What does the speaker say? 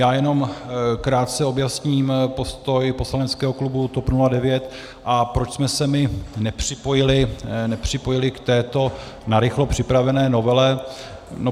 Já jenom krátce objasním postoj poslaneckého klubu TOP 09, a proč jsme se my nepřipojili k této narychlo připravené novele.